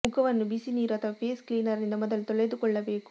ಮುಖವನ್ನು ಬಿಸಿ ನೀರು ಅಥವಾ ಫೇಸ್ ಕ್ಲೀನರ್ ನಿಂದ ಮೊದಲು ತೊಳೆದುಕೊಳ್ಳಬೇಕು